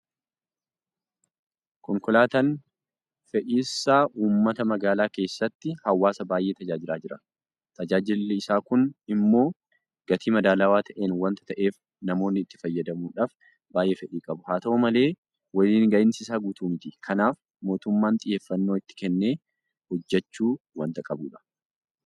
Konkolaataan fe'isa uummataa magaalaa keessatti hawaasa baay'ee tajaajilaa jira. Tajaajilli isaa kun immoo gatii madaalawaa ta'een waanta ta'eef namoonni itti fayyadamuudhaaf baay'ee fedhii qabu. Haat'u malee waliin gahinsi isaa guutuu miti. Kanaaf mootummaan xiyyeeffannoo itti kennee hojjechuu waanta qabudha.